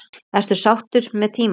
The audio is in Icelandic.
Ertu sáttur með tímann?